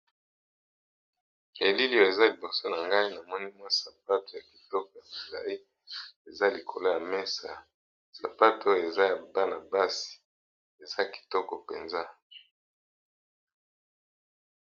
ELiLi , oyo eza liboso na ngai ! namoni mwa sapato ya kitoko ya mulayi eza likolo ya mesa , sapato eza ya bana basi eza kitoko Mpenza .